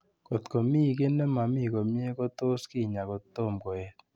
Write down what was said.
Kot ko mi ki ne mamii komie, ko tos kinyaa ko tomo koet.